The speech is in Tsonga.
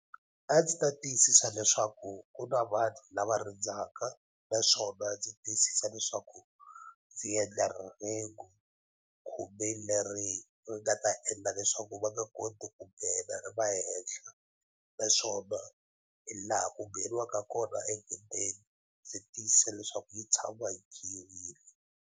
A ndzi ta tiyisisa leswaku ku na vanhu lava rindzaka naswona ndzi tiyisisa leswaku ndzi endla rhengu khumbi leri ri nga ta endla leswaku va nga koti ku nghena ri va henhla naswona hi laha ku ngheniwaka kona egedeni ndzi tiyisisa leswaku yi tshama yi .